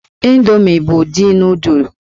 Indomi bụ ụdị nụụdụl.